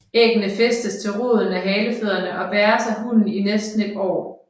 Æggene fæstes til roden af halefødderne og bæres af hunnen i næsten et år